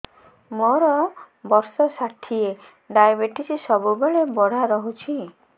ମୋର ବର୍ଷ ଷାଠିଏ ଡାଏବେଟିସ ସବୁବେଳ ବଢ଼ା ରହୁଛି